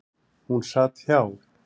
Hún sat hjá.